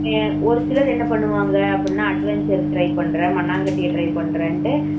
ஒரு சிலர் என்ன பண்ணுவாங்க அப்படின்னா adventure try பண்றேன் மண்ணாங்கட்டிய try பண்றேன்னு சொல்லிட்டு